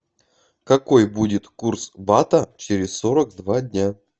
какой будет курс бата через сорок два дня